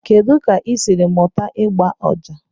Kedu ka ị siri mụta ịgba ọjà?